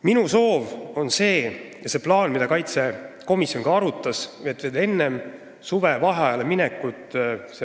Minu soov on see – ja seda plaani arutas ka riigikaitsekomisjon –, et see seadus võetaks siin Riigikogus vastu enne suvevaheajale minekut.